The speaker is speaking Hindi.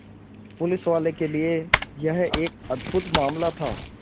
पुलिसवालों के लिए यह एक अद्भुत मामला था